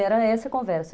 Era essa conversa.